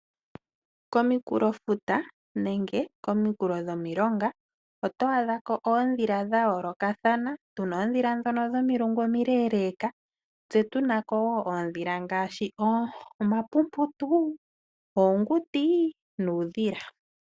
Kominkulofuta nenge kominkulo dhomilonga oto adha ko oondhila dha yoolokathana. Tu na oondhila ndhono dhomilungu omileeleeka, tse tu na ko wo oondhila ngaashi oonkololo, oonguti nuudhila.